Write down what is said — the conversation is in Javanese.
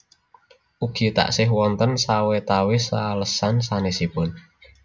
Ugi taksih wonten sawetawis alesan sanèsipun